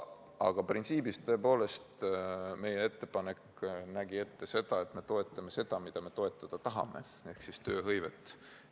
Aga printsiibis, tõepoolest, meie ettepanek nägi ette, et me toetame seda, mida me toetada tahame ehk tööhõivet.